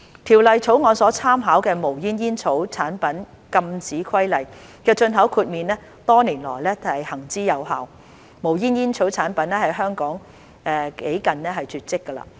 《條例草案》所參考的《無煙煙草產品規例》的進口豁免多年來行之有效，無煙煙草產品在香港幾近絕跡。